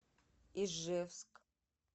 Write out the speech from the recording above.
ижевск